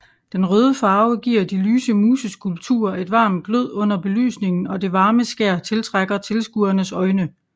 Den røde farve giver de lyse museskulpturer et varmt glød under belysningen og det varme skær tiltrækker tilskuernes øjne